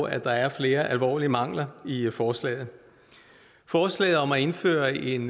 at der er flere alvorlige mangler i forslaget forslaget om at indføre en